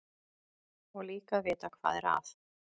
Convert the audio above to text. Og líka að vita hvað er að.